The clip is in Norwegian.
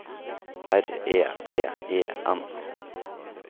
R E V E N